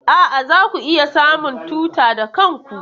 A'a, zaku iya samun tuta da kanku.